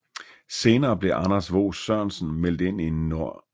Senere blev Anders Vos Sørensen meldt ind i Nr